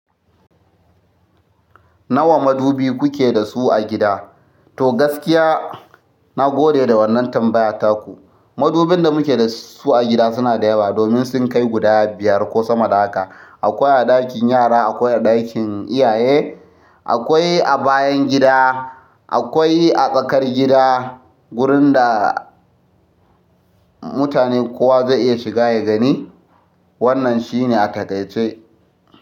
Nawa madubi kuke da su a gida? To, gaskiya, na gode da wannan tambaya taku. Madubin da muke da su a gida suna da yawa, domin sun kai guda biyar ko sama da haka. Akwai a ɗakin yara, akwai a ɗakin iyaye, akwai a bayan gida, akwai a tsakar gida, wurin da mutane kowa zai iya shiga ya gani. Wannan shine a takaice.